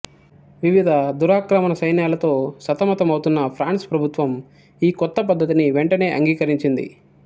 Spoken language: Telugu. వివిధ దురాక్రమణ సైన్యాలతో సతమతమవుతున్న ఫ్రాన్స్ ప్రభుత్వం ఈ కొత్త పద్ధతిని వెంటనే అంగీకరించింది